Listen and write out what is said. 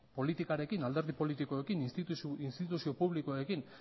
politikarekin alderdi politikoekin instituzio publikoekin